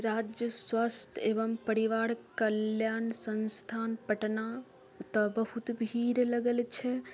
राज्य स्वास्थ्य एवं परिवार कल्याण संस्थान पटना ओता बहुत भीड़ लगल छै।